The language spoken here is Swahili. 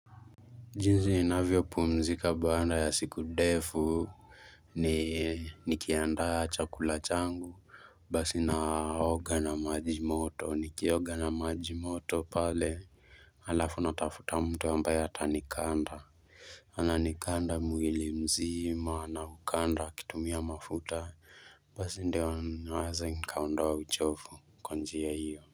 Jinzi inavyo pumzika baanda ya siku defu ni nikiandaa chakula changu basi naoga na maji moto nikioga na maji moto pale alafu natafuta mtu ambaye ata nikanda ana nikanda mwili mzima na ukanda akitumia mafuta basi ndewa waza nikaondoa uchofu kwa njia hiyo.